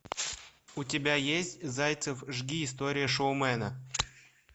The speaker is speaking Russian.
у тебя есть зайцев жги история шоумена